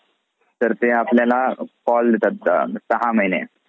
तर ते अपल्याला call देतात सहा महिने.